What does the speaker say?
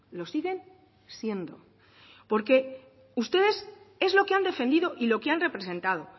lo siguen siendo porque ustedes es lo que han defendido y lo que han representado